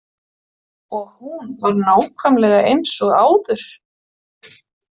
Og hún var nákvæmlega eins og áður?